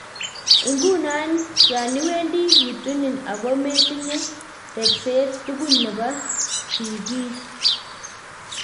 Iguno yan iwendi kituni oko metinye repset tugul nepo sigin.